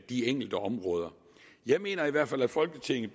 de enkelte områder jeg mener i hvert fald at folketinget